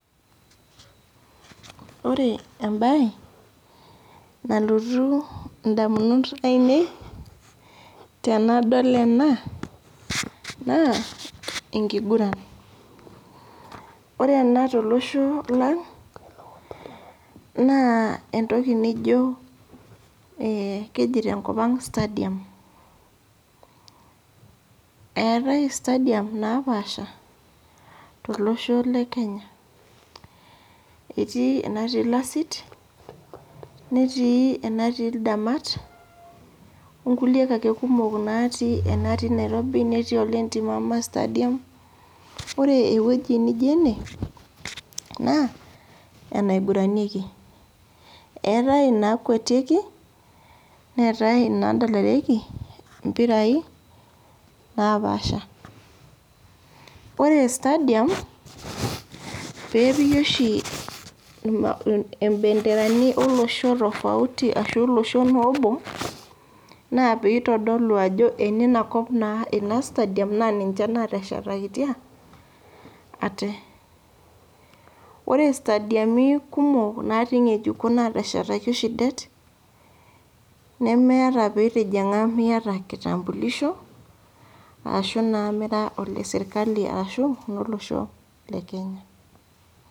Wore embaye nalotu indamunot aiinei, tenadol ena naa enkiguran. Wore ena tolosho lang, naa entoki nijo keji tenkop ang' stadium. Eetae stadium naapaasha tolosho le Kenya, etii enatii ilasit, netii enatii ildamat, onkuliek aake kumok natii inaatii Nairobi netii ole ntimama stadium. Wore ewoji nijio ene, naa eneiguranieki. Eetae inaakuetieki, neetae inaiguranieki impirai naapaasha. Wore stadium, pee epiki oshi imbenderani olosho tofauti ashu olosho noobo, naa pee itodolu ajo eniniakop naa inia stadium naa ninche naateshakitia ate. Wore stadiami kumok natii inyejikon naateshetaki oshi det, nemeeta pii itijinga miata enkitambulisho, ashu naa mira ole sirkali arashu ololosho le Kenya.